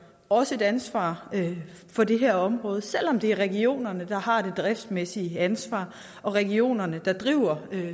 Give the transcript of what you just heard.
også et ansvar for det her område selv om det er regionerne der har det driftsmæssige ansvar og regionerne der driver